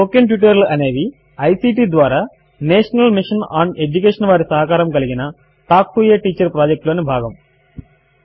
spoken tutorial అనేవి ICT ద్వారా national mission on education వారి సహకారము కలిగిన talk to a teacher project లోని భాగము